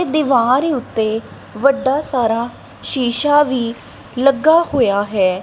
ਦੀਵਾਰ ਉੱਤੇ ਵੱਡਾ ਸਾਰਾ ਸ਼ੀਸ਼ਾ ਵੀ ਲੱਗਾ ਹੋਇਆ ਹੈ।